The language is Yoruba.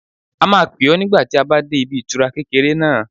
A máa pè ọ́ nígbà tí a bá dé ibi ìtura kékeré náà